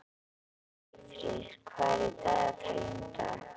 Eyfríður, hvað er í dagatalinu í dag?